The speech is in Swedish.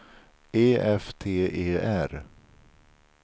E F T E R